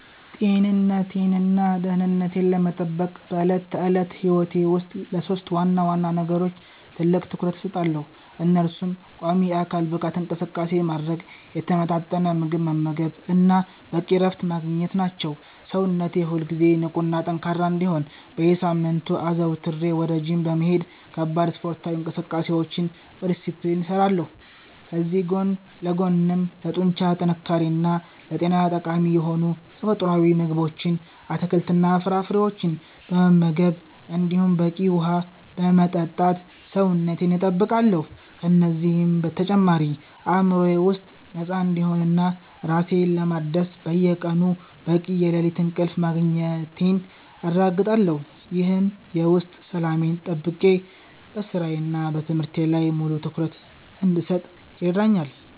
ጤንነቴንና ደህንነቴን ለመጠበቅ በዕለት ተዕለት ሕይወቴ ውስጥ ለሦስት ዋና ዋና ነገሮች ትልቅ ትኩረት እሰጣለሁ፤ እነሱም ቋሚ የአካል ብቃት እንቅስቃሴ ማድረግ፣ የተመጣጠነ ምግብ መመገብ እና በቂ እረፍት ማግኘት ናቸው። ሰውነቴ ሁልጊዜ ንቁና ጠንካራ እንዲሆን በየሳምንቱ አዘውትሬ ወደ ጂም በመሄድ ከባድ ስፖርታዊ እንቅስቃሴዎችን በዲስፕሊን እሰራለሁ፤ ከዚህ ጎን ለጎንም ለጡንቻ ጥንካሬና ለጤና ጠቃሚ የሆኑ ተፈጥሯዊ ምግቦችን፣ አትክልትና ፍራፍሬዎችን በመመገብ እንዲሁም በቂ ውሃ በመጠጣት ሰውነቴን እጠብቃለሁ። ከእነዚህ በተጨማሪ አእምሮዬ ከውጥረት ነፃ እንዲሆንና ራሴን ለማደስ በየቀኑ በቂ የሌሊት እንቅልፍ ማግኘቴን አረጋግጣለሁ፤ ይህም የውስጥ ሰላሜን ጠብቄ በሥራዬና በትምህርቴ ላይ ሙሉ ትኩረት እንድሰጥ ይረዳኛል።